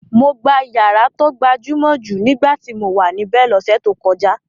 Mo gbà ìyàrá tó gbajúmọ̀ jù nígbà tí mo wà níbẹ̀ lọ́sẹ̀ tó kọjá.